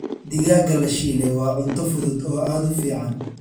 Digaagga la shiilay waa cunto fudud oo aad u fiican.